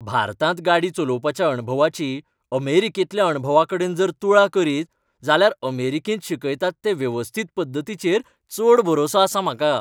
भारतांत गाडी चलोवपाच्या अणभवाची अमेरिकेंतल्या अणभवाकडेन जर तुळा करीत जाल्यार अमेरिकेंत शिकयतात ते वेवस्थीत पद्दतीचेर चड भरवंसो आसा म्हाका.